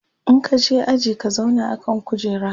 in ka je aji ka zauna a kan kujera!